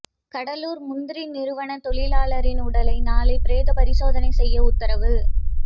கடலூர் முந்திரி நிறுவன தொழிலாளியின் உடலை நாளை பிரேத பரிசோதனை செய்ய உத்தரவு